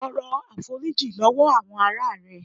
Tọrọ àforíjìn lọwọ àwọn ará rẹ.